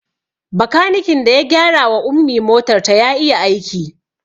Bakanikin da ya gyara wa Ummi motar ta ya iya aiki